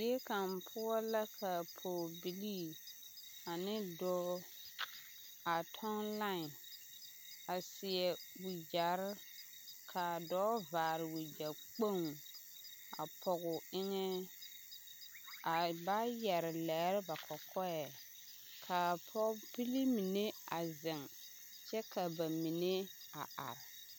Zie kaŋ poɔ la ka pɔgebilii ane dɔɔ a kyɔŋ line a seɛ wagyɛre ka a dɔɔ vaare wagyɛ kpoŋ a pɔge o eŋɛ ka ba yɛre lɛɛ ba kɔkɔɛ ka pɔgebilii mine a zeŋ kyɛ ka ba mine a are.